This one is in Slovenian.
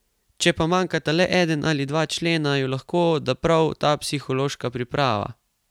Če pa manjkata le eden ali dva člena, ju lahko da prav ta psihološka priprava.